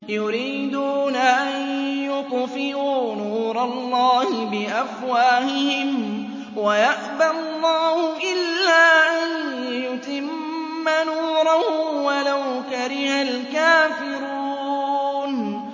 يُرِيدُونَ أَن يُطْفِئُوا نُورَ اللَّهِ بِأَفْوَاهِهِمْ وَيَأْبَى اللَّهُ إِلَّا أَن يُتِمَّ نُورَهُ وَلَوْ كَرِهَ الْكَافِرُونَ